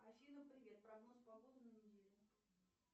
афина привет прогноз погоды на неделю